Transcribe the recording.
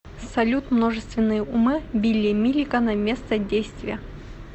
салют множественные умы билли миллигана место действия